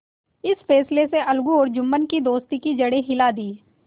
इस फैसले ने अलगू और जुम्मन की दोस्ती की जड़ हिला दी